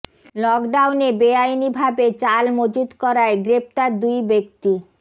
লকডাউনে বেআইনি ভাবে চাল মজুত করায় গ্রেফতার দুই ব্যক্তি